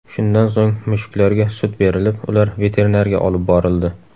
Shundan so‘ng mushuklarga sut berilib, ular veterinarga olib borildi.